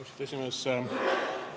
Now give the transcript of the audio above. Austatud esimees!